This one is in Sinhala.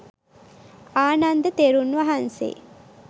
ආනන්ද තෙරුන් වහන්සේ.